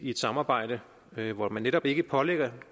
et samarbejde hvor man netop ikke pålægger